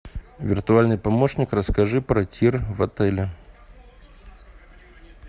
виртуальный помощник расскажи про тир в отеле